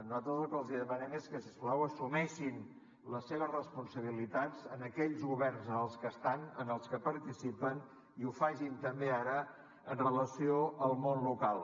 nosaltres el que els demanem és que si us plau assumeixin les seves responsabilitats en aquells governs en els que estan en els que participen i ho facin també ara amb relació al món local